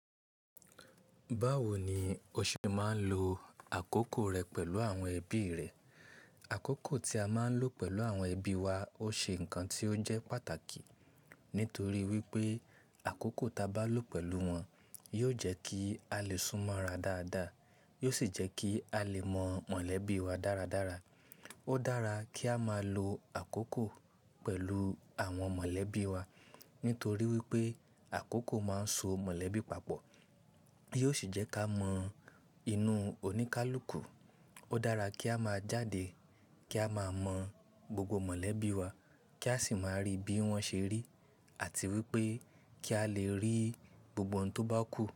Báwo ni o ṣe máa ń lo àkókò rẹ pẹ̀lú àwọn ẹbí rẹ? Àkókò tí a máa ń lò pẹ̀lú àwọn ẹbí wa ó ṣe ǹkan tí ó jẹ́ pàtàkì. Nítorí wípé àkókò ta bá lò pẹ̀lú wọn yóò jẹ́ kí a lè súnmọ́ ra dáadáa, yóò sì jẹ́ kí a lè mọ mọ̀lẹ́bí wa dáradára. Ó dára kí a máa lo àkókò pẹ̀lú àwọn mọ̀lẹ́bí wa nítorí wípé àkókò máa ń so mọ̀lẹ́bí papọ̀. Yóò sì jẹ́ ká mọ inú oníkálukú. Ó dára kí a máa jáde kí a máa mọ gbogbo mọ̀lẹ́bí wa, kí a sì máa rí bí wọ́n ṣe rí, àti wípé kí a lè rí gbogbo ohun tó bá kù.